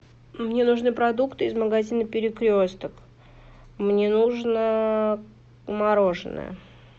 мне нужны продукты из магазина перекресток мне нужно мороженое